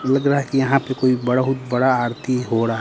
लग रहा है कि यहां पे कोई बहुत बड़ा आरती हो रहा--